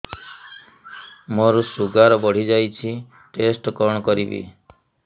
ମୋର ଶୁଗାର ବଢିଯାଇଛି ଟେଷ୍ଟ କଣ କରିବି